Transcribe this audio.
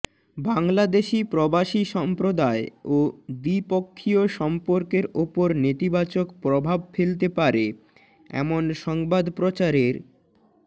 বাংলাদেশি প্রবাসী সম্প্রদায় ও দ্বিপক্ষীয় সম্পর্কের ওপর নেতিবাচক প্রভাব ফেলতে পারে এমন সংবাদ প্রচারের